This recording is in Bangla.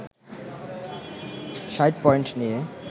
৬০ পয়েন্ট নিয়ে